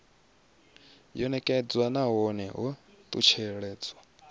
yo nekedzwa nahone ho talutshedzwa